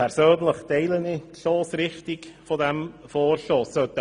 Persönlich teile ich die Stossrichtung dieses Vorstosses.